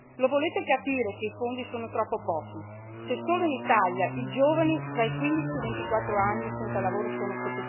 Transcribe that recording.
Lo volete capire che i fondi sono troppo pochi se solo in Italia i giovani tra i 15 e i 24 anni senza lavoro sono